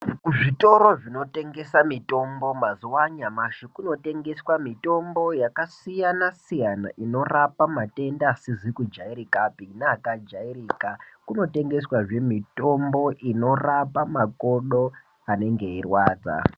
Kuzvitoro zvinotengesa mitombo mazuva anyamashi kunotengeswa mitombo yakasiyana siyana inorapa matenda asizi kujairikapi neakajairika kunotengeswa zvee mitombo inorapa makodo anenge eirwadza.